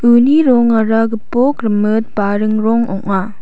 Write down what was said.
uni rongara gipok rimit baring rong ong·a.